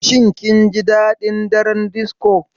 Shin kun ji daɗin daren disco?